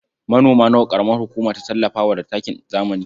Manoma nawa ƙaramar hukuma ta tallafa wa da takin zamani?